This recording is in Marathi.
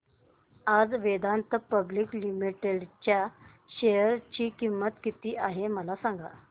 आज वेदांता पब्लिक लिमिटेड च्या शेअर ची किंमत किती आहे मला सांगा